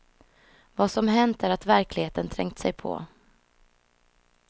Vad som hänt är att verkligheten trängt sig på.